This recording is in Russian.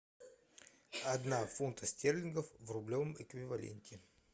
одна фунта стерлингов в рублевом эквиваленте